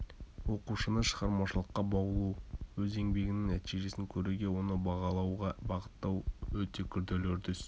оқушыны шығармашылыққа баулу өз еңбегінің нәтижесін көруге оны бағалауға бағыттау-өте күрделі үрдіс